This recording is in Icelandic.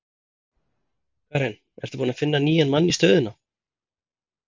Karen: Ertu búinn að finna nýjan mann í stöðuna?